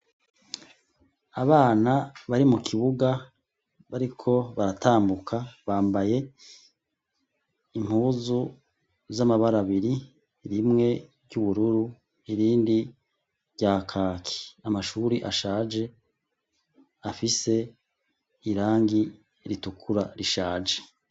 Abana bari mu kibuga bariko baratambuka bambaye impuzu z'amabara abiri, rimwe ry'ubururu irindi rya kaki, amashuri ashaje afise irangi ritukura rishaje.